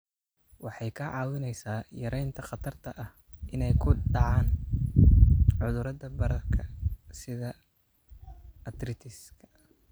Waxay kaa caawinaysaa yaraynta khatarta ah inay ku dhacaan cudurrada bararka sida arthritis-ka.